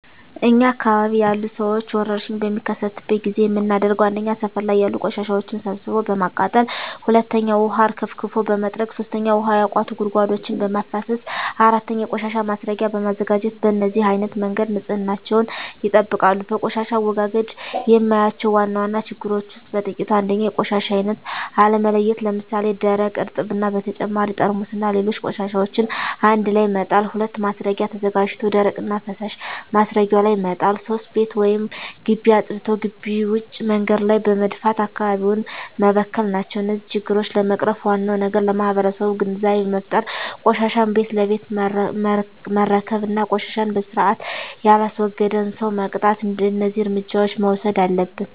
እኛ አካባቢ ያሉ ሠዎች ወርሽኝ በሚከሰትበት ጊዜ የምናደርገው 1. ሠፈር ላይ ያሉ ቆሻሻዎችን ሠብስቦ በማቃጠል 2. ውሀ አርከፍክፎ በመጥረግ 3. ውሀ ያቋቱ ጉድጓዶችን በማፋሠስ 4. የቆሻሻ ማስረጊያ በማዘጋጀት በነዚህ አይነት መንገድ ንፅህናቸውን ይጠብቃሉ። በቆሻሻ አወጋገድ የማያቸው ዋና ዋና ችግሮች ውስጥ በጥቂቱ 1. የቆሻሻ አይነት አለመለየት ለምሣሌ፦ ደረቅ፣ እርጥብ እና በተጨማሪ ጠርሙስና ሌሎች ቆሻሻዎችን አንድላይ መጣል። 2. ማስረጊያ ተዘጋጅቶ ደረቅና ፈሣሽ ማስረጊያው ላይ መጣል። 3. ቤት ወይም ግቢ አፅድቶ ግቢ ውጭ መንገድ ላይ በመድፋት አካባቢውን መበከል ናቸው። እነዚህን ችግሮች ለመቅረፍ ዋናው ነገር ለማህበረሠቡ ግንዛቤ መፍጠር፤ ቆሻሻን ቤት ለቤት መረከብ እና ቆሻሻን በስርአት የላስወገደን ሠው መቅጣት። እደዚህ እርምጃዎች መውሠድ አለብን።